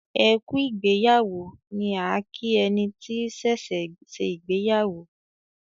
"ẹkú ìgbéyàwó" ni a kí ẹni tí ṣẹṣẹ ṣe ìgbéyàwó.